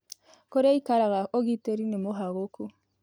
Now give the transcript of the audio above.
Kũrĩa aĩkaraga ũgĩtĩrĩ nĩ mũhagũkũ